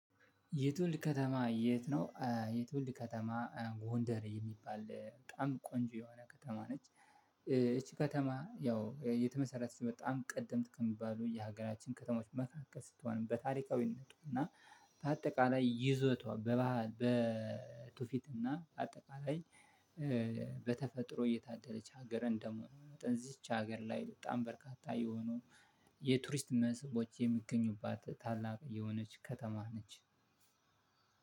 የትውልድ ከተማ የት? ነው የትውልድ ከተማ ጎንደር የሚባል በጣም ቆንጆ የሆነ ከተማ ነች። ይቺ ከተማ ያው የተመሰረተች በጣም ቀደምት ከሚባሉ የሀገራችን ከተማዎች መካከል ስትሆንም በታሪካዊነቷና በአጠቃላይ ይዘቷ በባህል በቱፊትና አጠቃላይ። በተፈጥሮ እየታደለች ሀገር እንደምሆን እዚች ሀገር ላይ በጣም በርካታ የሆኑ የቱሪስት መስህቦች የሚገኙባት ታላቅ የሆነች ከተማ ነች።